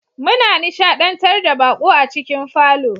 Muna nishadantar da baƙo a cikin falon